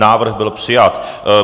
Návrh byl přijat.